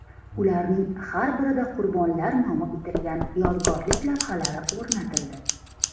Ularning har birida qurbonlar nomi bitilgan yodgorlik lavhalari o‘rnatildi.